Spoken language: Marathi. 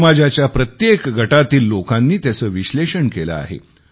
समाजाच्या प्रत्येक गटातील लोकांनी त्याचे विश्लेषण केले आहे